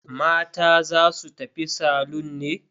Mata za su tafi salon ne?